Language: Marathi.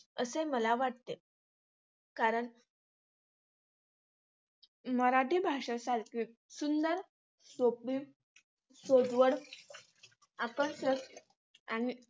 असे मला वाटते. कारण मराठी भाषेसारखी सुंदर, सोपी, सोज्वळ आणि